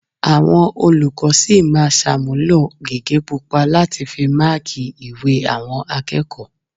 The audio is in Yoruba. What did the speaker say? Àwọn olùkọ́ sì máa ṣàmúlò gègé pupa láti fi máákì ìwé àwọn akẹ́kọ̀ọ́